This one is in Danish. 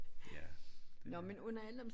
Ja det er